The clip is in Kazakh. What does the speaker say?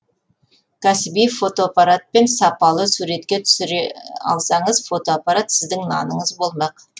кәсіби фотоаппаратпен сапалы суретке түсіре алсаңыз фотоаппарат сіздің наныңыз болмақ